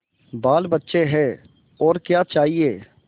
बालबच्चे हैं और क्या चाहिए